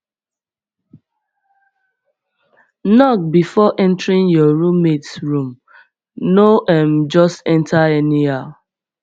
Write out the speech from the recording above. knock bfor entering your roommates room no um just enter anyhow